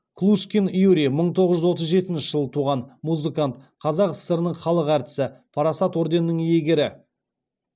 клушкин юрий мың тоғыз жүз отыз жетінші жылы туған музыкант қазақ сср інің халық әртісі парасат орденінің иегері